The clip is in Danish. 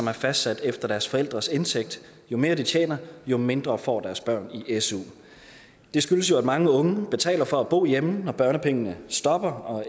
er fastsat efter deres forældres indtægt jo mere de tjener jo mindre får deres børn i su det skyldes jo at mange unge betaler for at bo hjemme når børnepengene stopper og